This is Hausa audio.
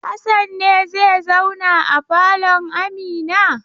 Hassan ne zai zauna a falon Amina?